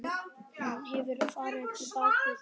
Hann hefur farið á bak við þig.